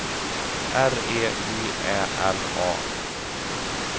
R E J Ä L A